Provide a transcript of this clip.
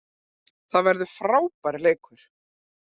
Það verður frábær leikur